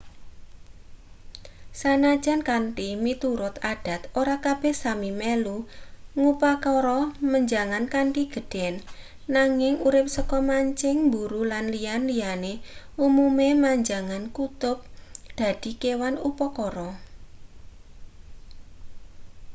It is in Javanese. sanajan kanthi miturut adat ora kabeh sámi melu ngupakara menjangan kanthi gedhen nanging urip saka mancing mburu lan liya-liyane umume menjangan kutub dadi kewan upakara